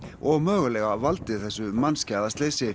og mögulega valdið þessu mannskæða slysi